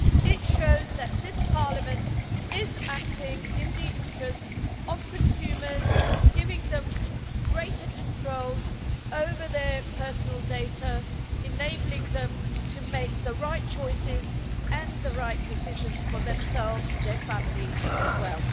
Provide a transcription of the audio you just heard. It shows that this Parliament is acting in the interests of consumers, giving them greater control over their personal data, enabling them to make the right choices and the right decisions for themselves, and for their families as well.